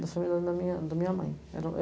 família da minha da minha mãe.